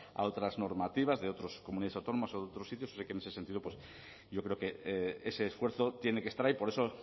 a otras normativas de otras comunidades autónomas o de otros sitios o sea que en ese sentido pues yo creo que ese esfuerzo tiene que estar ahí por eso